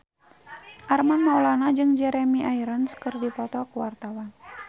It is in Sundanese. Armand Maulana jeung Jeremy Irons keur dipoto ku wartawan